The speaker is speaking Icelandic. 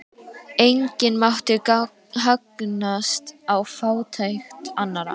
Enginn mátti hagnast á fátækt annarra.